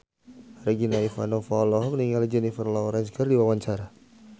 Regina Ivanova olohok ningali Jennifer Lawrence keur diwawancara